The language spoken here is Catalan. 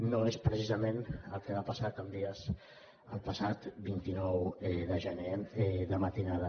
no és precisament el que va passar a can vies el passat vint nou de gener de matinada